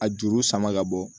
A juru sama ka bɔ